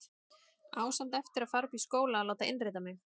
Á samt eftir að fara upp í skóla og láta innrita mig.